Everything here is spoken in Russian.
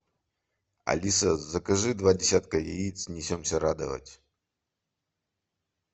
алиса закажи два десятка яиц несемся радовать